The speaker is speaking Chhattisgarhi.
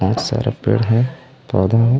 बहुत सारा पेड़ हे पौधे हे।